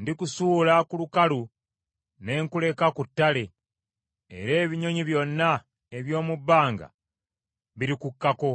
Ndikusuula ku lukalu, ne nkuleka ku ttale, era ebinyonyi byonna eby’omu bbanga birikukkako,